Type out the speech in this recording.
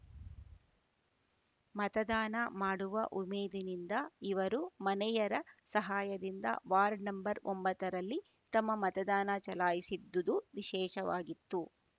ಮತದಾನ ಮಾಡುವ ಉಮೇದಿನಿಂದ ಇವರು ಮನೆಯರ ಸಹಾಯದಿಂದ ವಾರ್ಡ್‌ ನಂ ಒಂಭತ್ತರಲ್ಲಿ ತಮ್ಮ ಮತದಾನ ಚಲಾಯಿಸಿದ್ದುದು ವಿಶೇಷವಾಗಿತ್ತು